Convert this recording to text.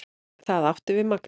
Það átti við Magnús.